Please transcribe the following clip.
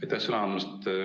Aitäh sõna andmast!